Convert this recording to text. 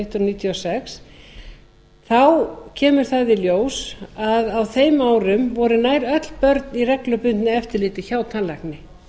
hundruð níutíu og sex kemur í ljós að á þeim árum voru nær öll börn í reglubundnu eftirliti hjá tannlækni